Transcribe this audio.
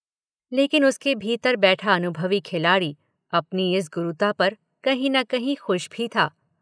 – लेकिन उसके भीतर बैठा अनुभवी खिलाड़ी अपनी इस गुरुता पर कहीं न कहीं खुश भी था।